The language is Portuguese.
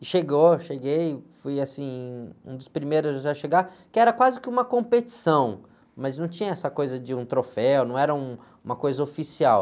E chegou, cheguei, fui assim, um dos primeiros a chegar, que era quase que uma competição, mas não tinha essa coisa de um troféu, não era um, uma coisa oficial.